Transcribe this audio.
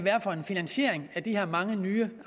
er for en finansiering af de her mange nye